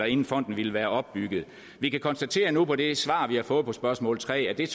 inden fonden ville være opbygget vi kan konstatere nu på det svar vi har fået på spørgsmål tre at det